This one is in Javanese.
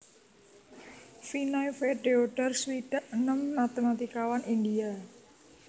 Vinay V Deodhar swidak enem matématikawan India